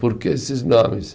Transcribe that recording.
Por que esses nomes?